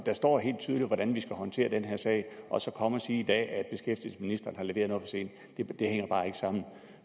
står hvordan vi skal håndtere den her sag og så at komme og sige i dag at beskæftigelsesministeren har leveret noget for sent hænger bare ikke sammen